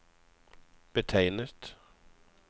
betegnet